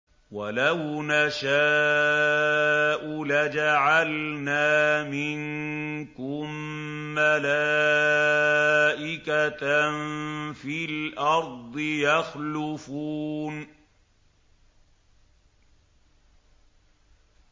وَلَوْ نَشَاءُ لَجَعَلْنَا مِنكُم مَّلَائِكَةً فِي الْأَرْضِ يَخْلُفُونَ